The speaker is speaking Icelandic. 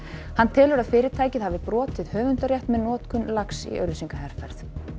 hann telur að fyrirtækið hafi brotið höfundarrétt með notkun lags í auglýsingaherferð